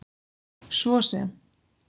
svo sem